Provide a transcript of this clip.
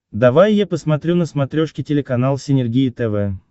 давай я посмотрю на смотрешке телеканал синергия тв